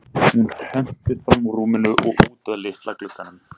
Hún hentist fram úr rúminu og út að litla glugganum.